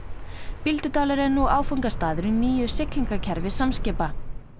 Bíldudalur er nú áfangastaður í nýju siglingarkerfi Samskipa